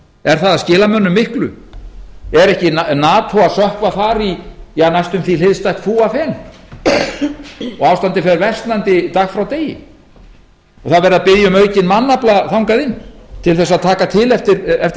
er það að skila mönnum miklu er ekki nato að sökkva þar í næstum því hliðstætt fúafen og ástandið fer versnandi dag frá degi það er verið að biðja um aukinn mannafla þangað inn til þess að taka til eftir